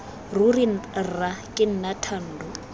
ruri rra ke nna thando